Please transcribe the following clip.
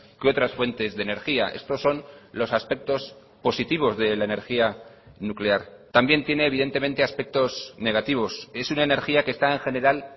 que otras fuentes de energía estos son los aspectos positivos de la energía nuclear también tiene evidentemente aspectos negativos es una energía que está en general